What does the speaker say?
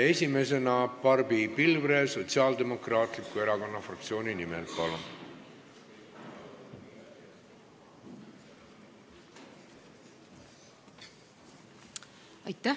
Esimesena Barbi Pilvre Sotsiaaldemokraatliku Erakonna fraktsiooni nimel, palun!